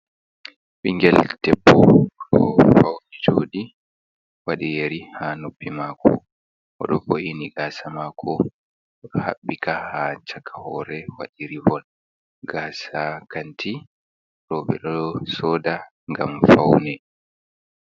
Bingel ɗebbo fauni juɗi, wadi yeri ha nuppi mako, oɗo woini gasa mako oɗo habɓika ha chaka hore, wadi rivon gasa kanti ɓeɗon soda gam faune.